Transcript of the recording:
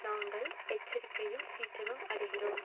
நாங்கள் எச்சரிக்கையும் சீற்றமும் அடைகிறோம்